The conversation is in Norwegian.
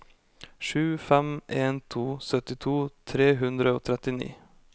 sju fem en to syttito tre hundre og trettini